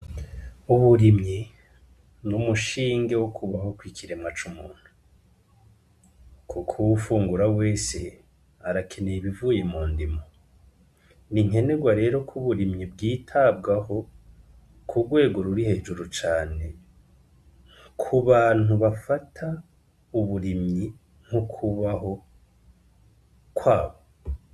Uburimyi n'umushinge wo kubaho kukiremwa c'umuntu kuko uwufungura wese arakeneye ibivuye mundimo, n'inkenerwa rero ko uburimyi bwitabwaho ku rwego ruri hejuru cane kubantu bafata uburimyi nk'ukubaho kwabo.